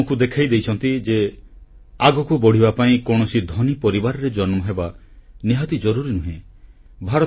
ସେ ଆମକୁ ଦେଖାଇ ଦେଇଛନ୍ତି ଯେ ଆଗକୁ ବଢ଼ିବା ପାଇଁ କୌଣସି ଧନୀ ପରିବାରରେ ଜନ୍ମହେବା ନିହାତି ଜରୁରୀ ନୁହେଁ